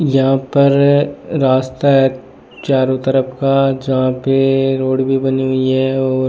यहां पर रास्ता है चारों तरफ का जहां पे रोड भी बनी हुई है और--